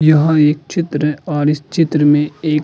यहाँ एक चित्र और इस चित्र में एक --